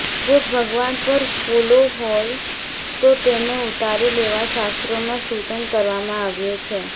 જો ભગવાન પર ફૂલો હોય તો તેને ઉતારી લેવા શાસ્ત્રોમાં સૂચન કરવામાં આવ્યું છે